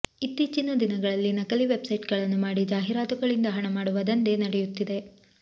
ಇತ್ತೀಚಿನ ದಿನಗಳಲ್ಲಿ ನಕಲಿ ವೆಬ್ಸೈಟಗಳನ್ನು ಮಾಡಿ ಜಾಹೀರಾತುಗಳಿಂದ ಹಣ ಮಾಡುವ ದಂಧೆ ನಡೆಯುತ್ತಿದೆ